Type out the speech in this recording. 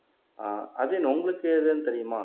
ஆஹ் அஜயன் உங்களுக்கு ஏதுன்னு தெரியுமா